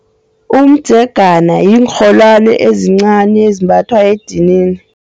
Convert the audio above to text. Umdzegana yiinrholwani ezincani ezimbathwa edinini.